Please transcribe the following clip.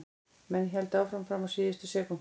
Menn héldu áfram fram á síðustu sekúndu.